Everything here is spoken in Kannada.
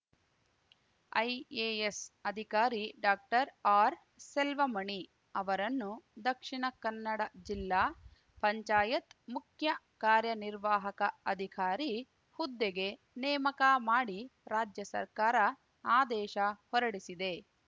ಐಎಎಸ್‌ ಅಧಿಕಾರಿ ಡಾಕ್ಟರ್ಆರ್‌ಸೆಲ್ವಮಣಿ ಅವರನ್ನು ದಕ್ಷಿಣ ಕನ್ನಡ ಜಿಲ್ಲಾ ಪಂಚಾಯತ್‌ ಮುಖ್ಯ ಕಾರ್ಯನಿರ್ವಾಹಕ ಅಧಿಕಾರಿ ಹುದ್ದೆಗೆ ನೇಮಕ ಮಾಡಿ ರಾಜ್ಯ ಸರ್ಕಾರ ಆದೇಶ ಹೊರಡಿಸಿದೆ